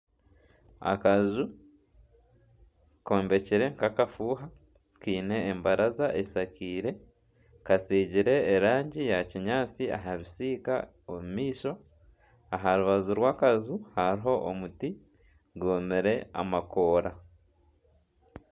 Akaju kombekire nk'akafuuha kiine embaraza eshakiire, katsigiire erangi ya kinyaatsi aha bisiika omu maisho. Aha rubaju rw'akaju hariho omuti gwomire amakoora.